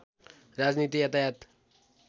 राजनीति यातायात